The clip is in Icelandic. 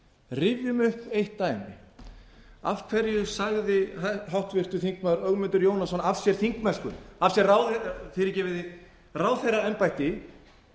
rifjum upp eitt dæmi af hverju sagði háttvirtur þingmaður ögmundur jónasson af sér þingmennsku af því ráðið fyrirgefiði ráðherraembætti